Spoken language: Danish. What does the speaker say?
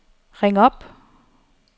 ring op